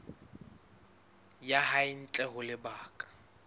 ya hae ntle ho lebaka